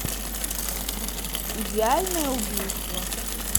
идеальное убийство